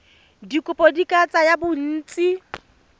dikopo di ka tsaya bontsi